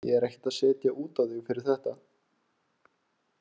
Ég er ekkert að setja út á þig fyrir þetta.